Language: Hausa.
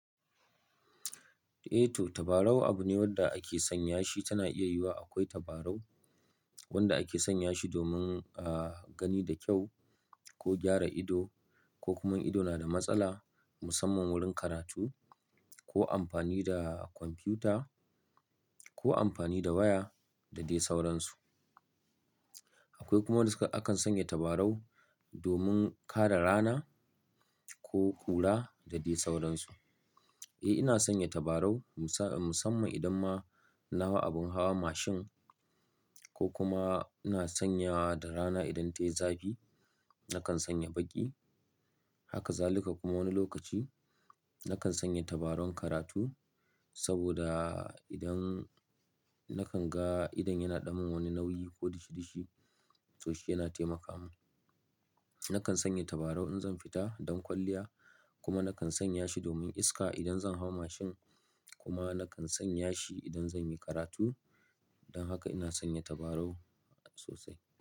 Eh to tabarau abu ne wanda ake sanya shi, tana iya yiwuwa akwai tabarau wanda ake sanya shi domin, uh, gani da kyau ko gyara ido ko kuma ido na da matsala musamman wurin karatu ko amfani da kwamfuta ko amfani da waya da dai sauransu. Akwai kuma duka akan sanya tabarau domin kare rana ko kura da dai sauransu. Eh ina sanya tabarau musa-- musamman idan ma nahau abin hawa mashin ko kuma ina sanya da rana idan tayi zafi nakan sanya baƙi. Haka zalika kuma wani lokaci nakan sanya tabarau karatu saboda idan nakan ga idon yana ɗamin wani nauyi ko dishi-dishi toh shi yana taimaka mun. Nakan sanya tabarau in zan fita don kwalliya kuma nakan sanya shi domin iska idan zan hau mashin kuma nakan sanya shi idan zan yi karatu. Don haka ina sanya tabarau sosai.